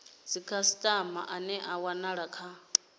dzikhasitama ane a wanala kha